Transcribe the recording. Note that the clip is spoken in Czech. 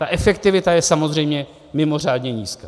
Ta efektivita je samozřejmě mimořádně nízká.